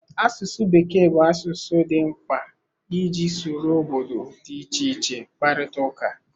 Asụsụ Bekee bụ asụsụ dị mkpa iji soro obodo dị iche iche kparịta ụka.